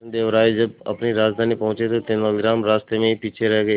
कृष्णदेव राय जब अपनी राजधानी पहुंचे तो तेलानीराम रास्ते में ही पीछे रह गए